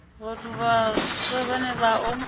vhathu vhaswa vhane vha o